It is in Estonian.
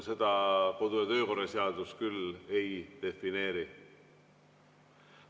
Seda kodu- ja töökorra seadus küll ei defineeri.